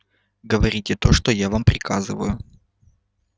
говорите то что я вам приказываю